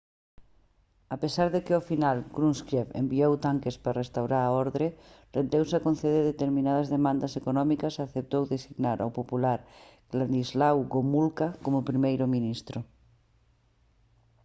a pesar de que ao final krushchev enviou tanques para restaurar a orde rendeuse a conceder determinadas demandas económicas e aceptou designar ao popular wladyslaw gomulka como primeiro ministro